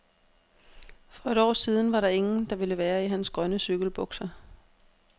For et år siden var der ingen, der ville være i hans grønne cykelbukser.